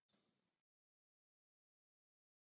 Ég þekki kristinn mann.